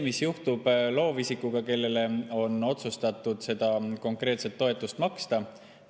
Mis juhtub loovisikuga, kellele on otsustatud seda konkreetset toetust maksta?